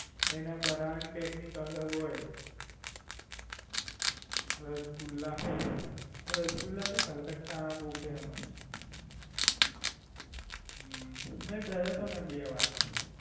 એના બનાવની Technic અલગ હોય રસગુલ્લા. રસગુલ્લા તો કોલકતા ના બોવ Famous છે. હમ્મ મેં ગયો તો ને બે વાર.